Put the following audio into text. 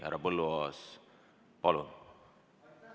Härra Põlluaas, palun!